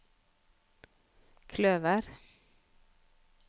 kløver